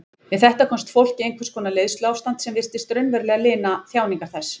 Við þetta komst fólk í einhvers konar leiðsluástand sem virtist raunverulega lina þjáningar þess.